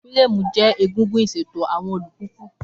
Fírámù jẹ́ egungun ìṣètò àwọn alùpùpù.